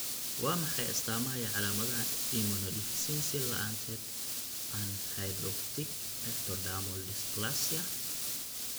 Waa maxay astaamaha iyo calaamadaha Immunodeficiency la'aanteed anhidrotic ectodermal dysplasia?